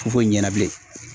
ɲɛna bilen.